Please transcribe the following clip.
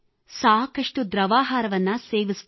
ಸಾಕಷ್ಟು ದ್ರವಾಹಾರ ಸೇವನೆ ಮಾಡಿದೆ